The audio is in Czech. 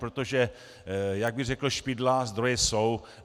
Protože jak by řekl Špidla, zdroje jsou.